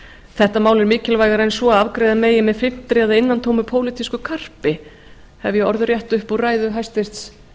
þetta mál er mikilvægara en svo að afgreiða megi með þynntri eða innantómu pólitísku karpi hef ég orðrétt upp úr ræðu hæstvirts